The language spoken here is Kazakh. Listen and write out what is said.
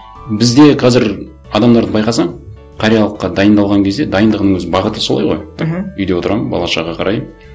бізде қазір адамдарды байқасаң қариялыққа дайындалған кезде дайындығының өзі бағыты солай ғой мхм үйде отырамын бала шаға қараймын